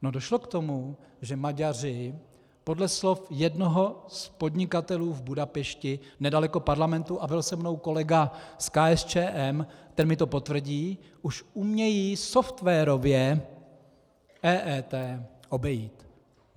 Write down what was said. No, došlo k tomu, že Maďaři podle slov jednoho z podnikatelů v Budapešti nedaleko parlamentu, a byl se mnou kolega z KSČM, ten mi to potvrdí, už umějí softwarově EET obejít.